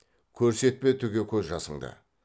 көрсетпе түге көз жасыңды